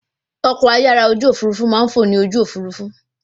Ọkọ̀-ayára òfurufú máa ń fọ ní ojú òfurufú